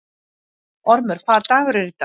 Ormur, hvaða dagur er í dag?